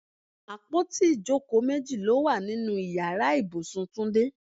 Àpótí ìjókòó méjì ló wà nínú Ìyàrá ibùsùn Túndé.